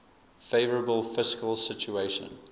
favourable fiscal situation